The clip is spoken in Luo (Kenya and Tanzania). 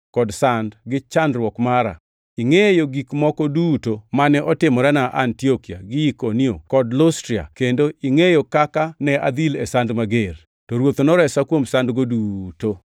kod sand gi chandruok mara. Ingʼeyo gik moko duto mane otimorena Antiokia gi Ikonio kod Lustra, kendo ingʼeyo kaka ne adhil e sand mager! To Ruoth noresa kuom sandgo duto.